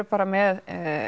bara með